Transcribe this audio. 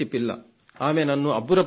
ఆమె నన్ను అబ్బురపరిచింది